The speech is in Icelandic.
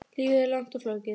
Lífið er langt og flókið.